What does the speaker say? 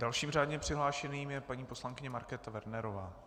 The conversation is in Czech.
Dalším řádně přihlášeným je paní poslankyně Markéta Wernerová.